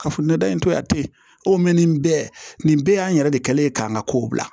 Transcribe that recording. Kafo nata in to a te mɛ nin bɛɛ nin bɛɛ y'an yɛrɛ de kɛlen ye k'an ka kow bila